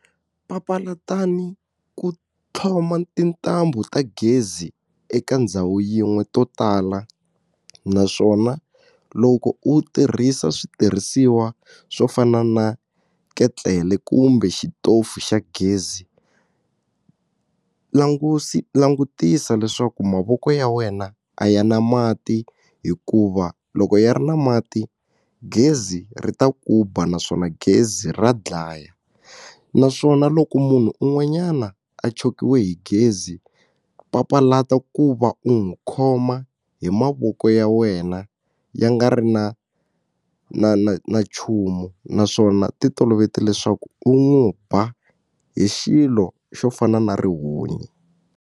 Papalatani ku tlhloma tintambu ta gezi eka ndhawu yin'we to tala naswona loko u tirhisa switirhisiwa swo fana na ketlele kumbe xitofu xa gezi langusi langutisa leswaku mavoko ya wena a ya na mati hikuva loko ya ri na mati gezi ri ta ku ba naswona gezi ra dlaya naswona loko munhu u n'wanyana a chokiwe hi gezi papalata ku va u n'wi khoma hi mavoko ya wena ya nga ri na na na na nchumu naswona ti toloveti leswaku u n'wi ba hi xilo xo fana na rihunyi.